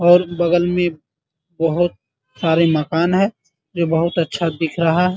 और बगल मे बहुत सारे मकान है जो बहुत अच्छा दिख रहा है ।